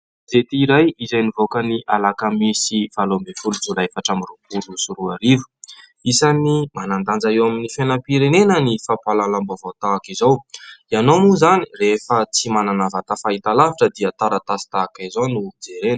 Gazety iray izay nivoaka ny alakamisy valo ambin'ny folo jolay efatra amby roapolo sy roarivo. Isan'ny manan-danja eo amin'ny fiainam-pirenena ny fampahalalam-baovao tahaka izao. Ianao moa izany rehefa tsy manana vata fahitalavitra dia taratasy tahaka izao no jerena.